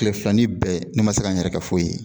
Tile filanin bɛɛ ne ma se ka n yɛrɛ ka foyi ye